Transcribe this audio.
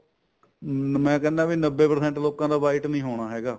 ਅਮ ਮੈਂ ਕਿਹਨਾ ਵੀ ਨੱਬੇ percent ਲੋਕਾਂ ਦਾ white ਨੀ ਹੋਣਾ ਹੈਗਾ